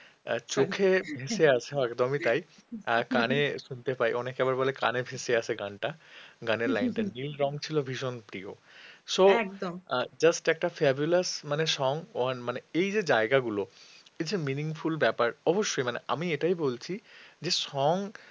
just একটা fabulous মানে song one এই যে জায়গা গুলো এই যে meaningful ব্যাপার অবশ্যই আমি এটাই বলছি যে song